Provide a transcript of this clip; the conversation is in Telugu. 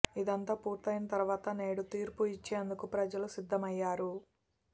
ఇదంతా పూర్తయైన తరువాత నేడు తీర్పు ఇచ్చేందుకు ప్రజలు సిద్ధమయ్యారు